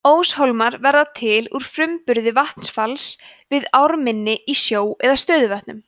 óshólmar verða til úr framburði vatnsfalla við ármynni í sjó eða stöðuvötnum